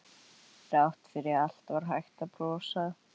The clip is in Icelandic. Þrátt fyrir allt var hægt að brosa.